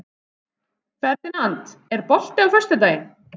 Ferdinand, er bolti á föstudaginn?